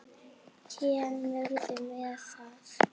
Kemurðu með það!